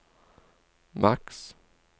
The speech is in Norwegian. maks